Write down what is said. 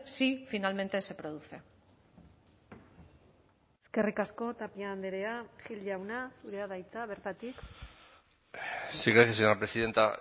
si finalmente se produce eskerrik asko tapia andrea gil jauna zurea da hitza bertatik sí gracias señora presidenta